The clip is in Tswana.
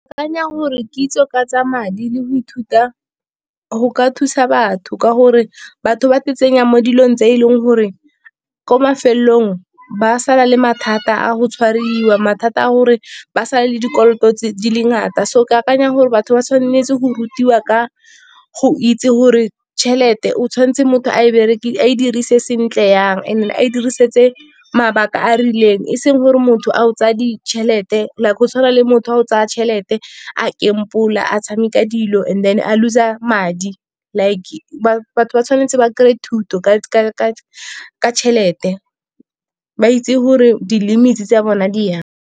Ke akanya gore kitso ka tsa madi le go ithuta go ka thusa batho. Ka gore batho ba tsenya mo dilong tse e leng gore ko mafelelong, ba sala le mathata a go tshwariwa. Mathata a gore ba sale le dikoloto di le ngata, so ke akanya gore batho ba tshwanetse go rutiwa ka go itse gore tšhelete, o tshwanetse motho a e dirise sentle jang. And then a e diriseditse mabaka a a rileng, e seng gore motho a o tsaya ditšhelete, like go tshwana le motho wa go tsaya tšhelete a gamble-a, a tshameka dilo and then a lose-a madi. Like batho ba tshwanetse ba kry-e thuto ka tšhelete, ba itse gore di-limits tsa bona di jang.